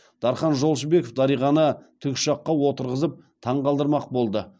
дархан жолшыбеков дариғаны тікұшаққа отырғызып таңғалдырмақ болды